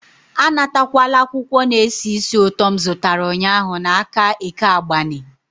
Anatakwala akwụkwọ na-esi ísì ụtọ m zụtara ụnyahụ n'aka Eke Agbani.